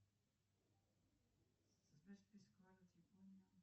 афина какие константы диссоциации кислоты ты знаешь